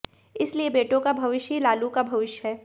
इसलिए बेटों का भविष्य ही लालू का भविष्य है